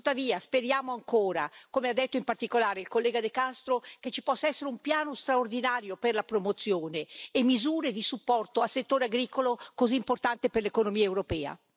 Tuttavia speriamo ancora, come ha detto in particolare il collega De Castro, che ci possa essere un piano straordinario per la promozione e misure di supporto al settore agricolo, così importante per l'economia europea.